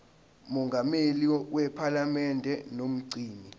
mongameli wephalamende nomgcini